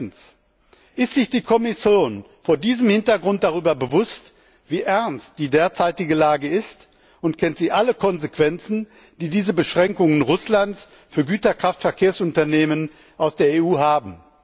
1. Ist sich die Kommission vor diesem Hintergrund dessen bewusst, wie ernst die derzeitige Lage ist, und kennt sie alle Konsequenzen, die diese Beschränkungen Russlands für Güterkraftverkehrsunternehmen aus der EU haben?